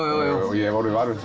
ég hef orðið var við